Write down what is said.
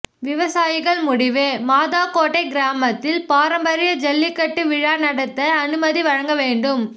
விவசாயிகள் முடிவு மாதாக்கோட்டை கிராமத்தில் பாரம்பரிய ஜல்லிக்கட்டு விழா நடத்த அனுமதி வழங்க வேண்டும்